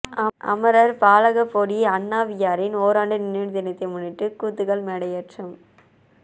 அமரர் பாலகப்போடி அண்ணாவியாரின் ஓராண்டு நினைவு தினத்தை முன்னிட்டு கூத்துகள் மேடையேற்றம்